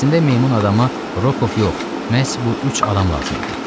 Əslində meymun adama Rokov yox, məhz bu üç adam lazım idi.